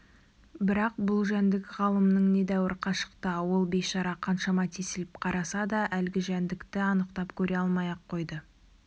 бірақ бұл жәндік ғалымның недәуір қашықта ол бейшара қаншама тесіліп қараса да әлгі жәндікті анықтап көре алмай-ақ қойды